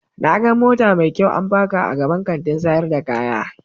Na gan mota mai kyau an paka a gaban Kantin sayar da kaya.